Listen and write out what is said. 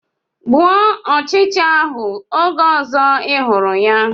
Gbuo ọchịcha ahụ oge ọzọ ị hụrụ ya!